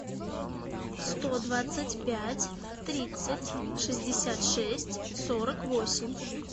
сто двадцать пять тридцать шестьдесят шесть сорок восемь